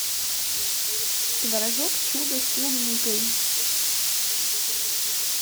творожок чудо с клубникой